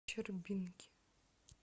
щербинке